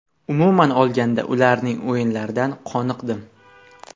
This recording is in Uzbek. Umuman olganda, ularning o‘yinlaridan qoniqdim”.